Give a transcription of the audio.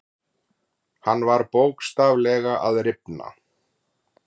Hann var bókstaflega að rifna.